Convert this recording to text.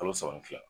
Kalo saba ni fila